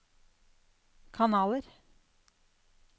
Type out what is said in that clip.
kanaler